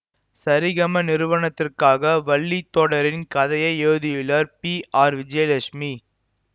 சரிகம நிறுவனத்திற்காக வள்ளி தொடரின் கதையை எழுதியுள்ளார் பிஆர் விஜயலட்சுமி